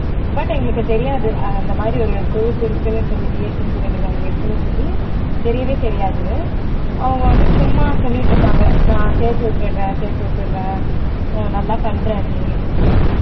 but எங்களுக்கு தெரியாது அஹ் அந்த மாதிரி ஒரு group இருக்குன்னு சொல்லி interior design இருக்குன்னு சொல்லி தெரியவே தெரியாது அவங்க வந்து சும்மா சொல்லிட்டு இருப்பாங்க நான் சேர்த்து விட்டுடறேன் சேர்த்து விட்டுடறேன் அஹ் நல்லா பண்ற நீ like